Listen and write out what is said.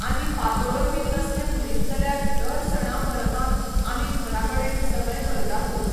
आनी पातोळ्यो बी तसलें म्हणीत जाल्यार दर सणां परबांक आमी घरा कडेन सगळें करतातूच.